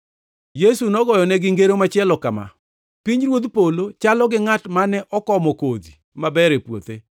Yesu nogoyonegi ngero machielo kama: “Pinyruodh polo chalo gi ngʼat mane okomo kodhi maber e puothe.